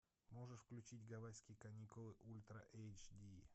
можешь включить гавайские каникулы ультра эйч ди